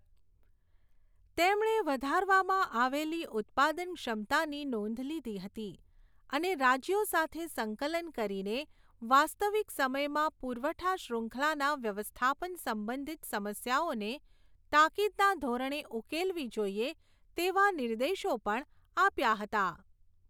તેમણે વધારવામાં આવેલી ઉત્પાદન ક્ષમતાની નોંધ લીધી હતી અને રાજ્યો સાથે સંકલન કરીને વાસ્તવિક સમયમાં પુરવઠા શ્રૃખંલાના વ્યવસ્થાપન સંબંધિત સમસ્યાઓને તાકીદના ધોરણે ઉકેલવી જોઈએ તેવા નિર્દેશો પણ આપ્યા હતા.